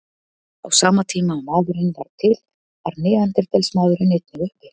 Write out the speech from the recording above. Á sama tíma og maðurinn varð til var neanderdalsmaðurinn einnig uppi.